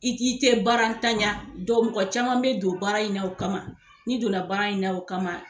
I k'i kɛ baara n tanya dɔw mɔgɔ caman bɛ don baara in na o kama n'i don na baara in na o kama.